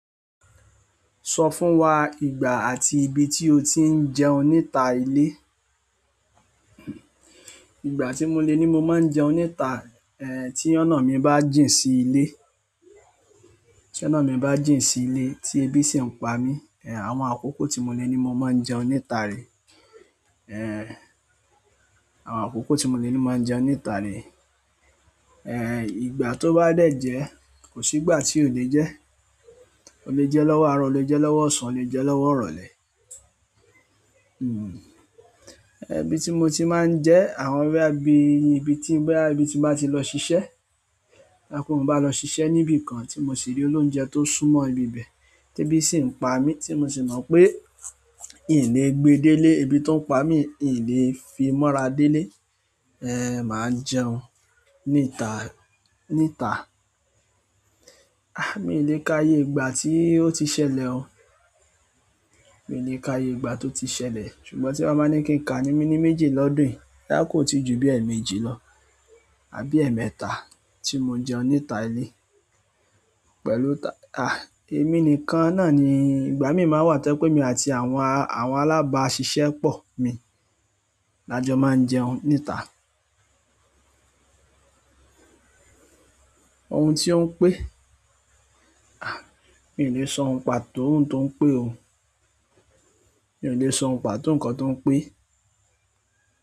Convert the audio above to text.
Sọ fún wa ìgbà àti ibi tí o ti ń jẹun níta ilé. Ìgbà tí mo le ní mo máa ń jẹun níta, tí ọ̀nà mi bá jìn sí ilé, tí ọ̀nà mi bá jìn sí ilé tí ebí sì ń pa mí, àwọn àkókò tí mo le ní mo máa ń jẹun níta rèé. Àwọn àkókò tí mo le ní n máa jẹun níta rèé, ìgbà tó bá dẹ̀ jẹ́ kò sígbà tí ò le jẹ́. O le jẹ́ lọ́wọ́ àárọ̀, o le jẹ́ lọ́wọ́ ọ̀sán, o le jẹ́ lọ́wọ́ ìrọ̀lẹ́. Ibi tí mo ti máa ń jẹẹ́, àwọn bóyá bí ibi tí, bóyá ibi tí n bá ti lọ ṣiṣẹ́ tá ńpé mo bá lọ ṣiṣẹ́ níbi kan tí mo sì rí olóúnjẹ tó súnmọ́ ibi ibẹ̀. Tébí sì ń pa mí tí mo sì mọ pé i ǹ le gbe délé, ebí tó ń pa mi i ǹ le fi mọ́ra délé, màá jẹun ní ìta, níta. Miì le ka iye ìgbà tí ó ti ṣẹlẹ̀ o. Mi ò lè ka iye ìgbà tó ti ṣẹlẹ̀, ṣùgbọ́n tí wọ́n bá ní kí n kàá ní méní méjì lọ́dún yìí, bóyá kò tíì ju bí ẹ̀ẹ̀mẹ́jì lọ àbí ẹ̀ẹ̀mẹ́ta tí mo jẹun níta ilé. Pẹ̀lú ta-- ah, èmi nìkan náà ni ìgbà mí máa ń wà tẹ́ pé èmi àti àwọn alábàáṣiṣẹ́pọ̀ mi la jọ máa ń jẹun níta. Ohun tí ó ń pé, miì lè sọ ohun pàtó ohun tó ń pé o. Mi ò lè sọ oùnpàtó ǹkan tó ń pẹ́.